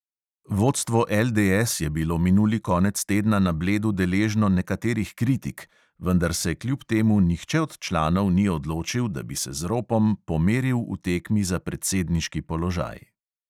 Vodstvo LDS je bilo minuli konec tedna na bledu deležno nekaterih kritik, vendar se kljub temu nihče od članov ni odločil, da bi se z ropom pomeril v tekmi za predsedniški položaj.